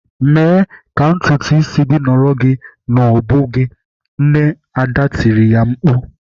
"Mee ka ntutu isi gị nọrọ gị n'ubu gị!" Nne Ada tiri ya mkpu.